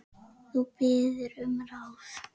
Þú biður um ráð.